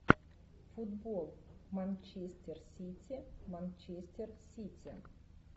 футбол манчестер сити манчестер сити